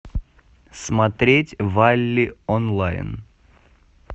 смотреть валли онлайн